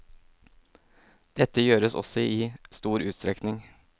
Dette gjøres også i stor utstrekning.